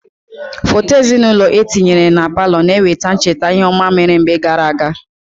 Foto ezinaụlọ etinyere na palọ na-eweta ncheta ihe ọma mere mgbe gaara aga.